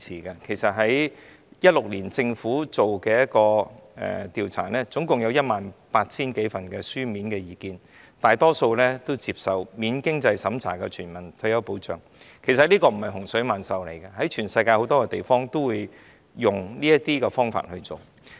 政府在2016年進行的調查，合共收到 18,000 多份意見書，大多數都接受免經濟審查的全民退保，其實這並非洪水猛獸，全球很多地方均採用這種方法來處理。